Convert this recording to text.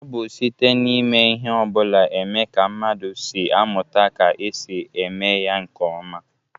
O bu site n'ime ihe obula eme ka mmadu si amuta ka e si eme ya nke oma.